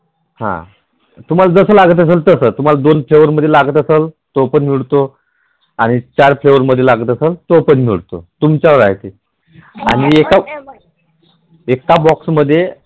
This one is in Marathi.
हा तुम्हाला जस लागत असल तस तुम्हाला दोन Flavour मध्ये लागत असल तो पण मिळतो आणि चार फ्लेवर मध्ये लागत असेल तो पण मिळतो. तुमच्यावर आहे ते आणि एका Box मध्ये